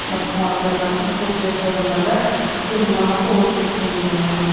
басқа аудандарымыз көршілес аудандарда судың бағасы отыз теңгеден ғана